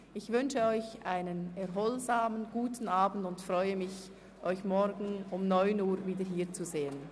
Ich wünsche Ihnen einen erholsamen, guten Abend und freue mich, Sie morgen um 9.00 Uhr wieder hier zu sehen.